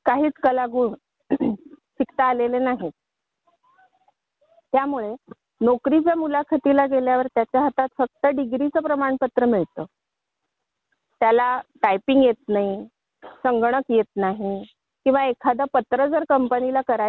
तिथे मी पण जाणार या विचाराने आपण काय कौशल्य मिळवतो हे पाहत नाही त्यामुळे शिक्षण कालवही झालेला आहे कि ब ज्यात तुम्हाला कौशल्य आधारित काहीच कला गुण त्याला शिकता आलेले नाही.